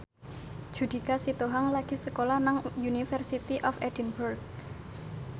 Judika Sitohang lagi sekolah nang University of Edinburgh